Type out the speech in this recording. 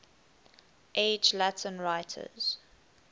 age latin writers